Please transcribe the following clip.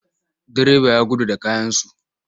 Direba ya gudu da kayansu.